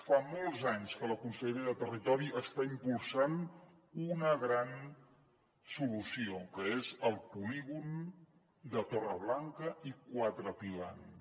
fa molts anys que la conselleria de territori està impulsant una gran solució que és el polígon de torreblanca i quatre pilans